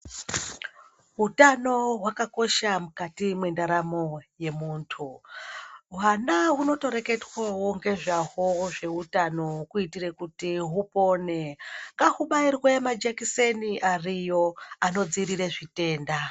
Utano hwakakosha mukati mwendaramo yemundu hwana hunotoreketwawo ngezvahwo zvehutano kuitira kuti hupone ngahubairwe majekiseni ariyo anodziirire zvitenda.